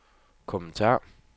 kommentar